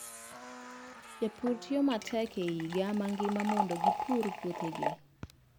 Jopur tiyo matek higa mangima mondo gipur puothegi.